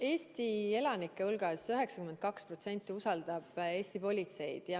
Eesti elanikest 92% usaldab Eesti politseid.